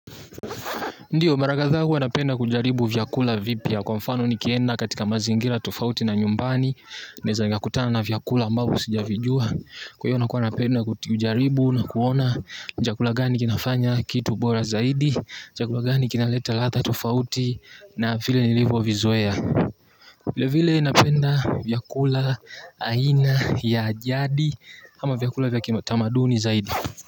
Ndiyo mara kadhaa kuwa napenda kujaribu vyakula vipya kwa mfano nikienda katika mazingira tofauti na nyumbani. Neweza nikakutana na vyakula ambavyo sijavijua. Kwa hivyo nakuwa napenda kujaribu na kuona. Ni chakula gani kinafanya kitu bora zaidi chakula gani kinaleta ladha tufauti na vile nilivyo vizoea. Vile vile napenda vyakula aina ya ajadi ama vyakula vya kitamaduni zaidi.